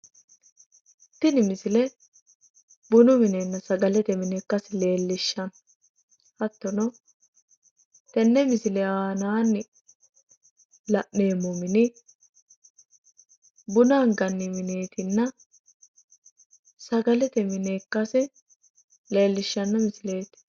Tini misile bunu minenna sagalete mine ikkasi leellishshanno hattono tenne misile aanaanni la’neemmo mini buna anganni mineetinna sagalete mine ikkasi leellishshanno misileeti.